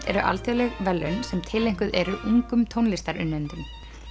eru alþjóðleg verðlaun sem tileinkuð eru ungum tónlistarunnendum